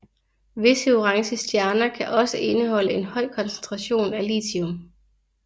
Visse orange stjerner kan også indeholde en høj koncentration af lithium